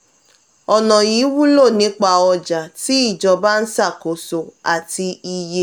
ọna yìí wulo nípa ọja tí ijọba ń ṣakoso ati iye.